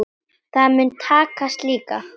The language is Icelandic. Það mun takast líka.